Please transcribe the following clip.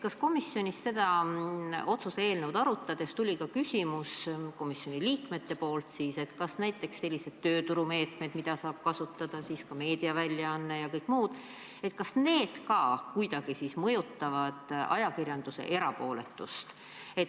Kas komisjonis seda otsuse eelnõu arutades tuli ka küsimus komisjoni liikmetelt, kas näiteks sellised tööturumeetmed, mida saavad kasutada meediaväljaanded ja kõik muud, ka kuidagi mõjutavad ajakirjanduse erapooletust?